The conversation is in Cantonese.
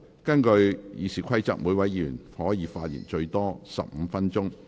根據《議事規則》，每位議員可發言最多15分鐘。